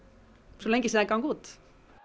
svo lengi sem þær ganga út